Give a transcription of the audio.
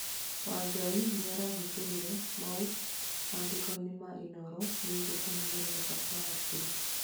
Wangai nĩarahithũririe maũ mandĩkoinĩ ma inooro megiĩ kuhinyĩririka kwa hakiri